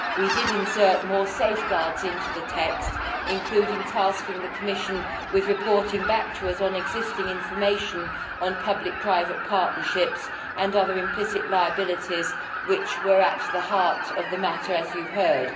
We did insert more safeguards into the text, including tasking the Commission with reporting back to us on existing information on public private partnerships and other implicit liabilities, which were at the heart of the matter, as you have heard.